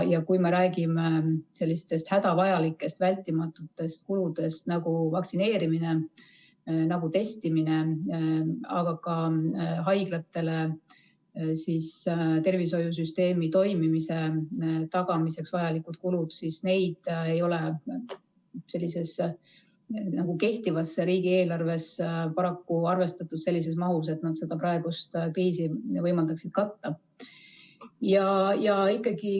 Kui me räägime sellistest hädavajalikest, vältimatutest kuludest nagu vaktsineerimine, nagu testimine, aga ka haiglate ja tervishoiusüsteemi toimimise tagamiseks vajalikud kulud, siis neid ei ole kehtivas riigieelarves paraku arvestatud sellises mahus, et nad seda praegust kriisi võimaldaksid katta.